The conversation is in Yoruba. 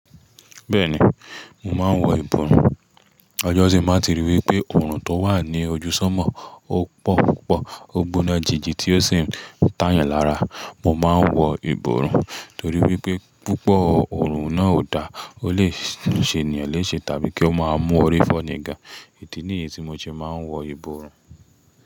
Bẹ́ẹ̀ni, mò máa ń wọ ìbòrun. Ọjọ́ tii má ti rí wípé òrùn tó wà ní ojú sánmò ó pọ̀ púpọ̀, ó gbóná jìji tí ó sì ń tàyàn lára. Mò máa ń wọ ìbòrun torí wípé púpọ̀ òrùn náà ò da, ó lè ṣe ènìyàn léṣe tàbí kí ó máa mú orí fo ní ga. Ìdí ni èyí tí mo ṣe máa ń wọ ìbòrun.